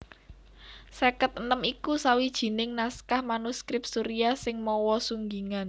Seket enem iku sawijining naskah manuskrip Suriah sing mawa sunggingan